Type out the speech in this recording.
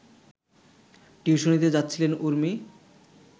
টিউশনিতে যাচ্ছিলেন উর্মি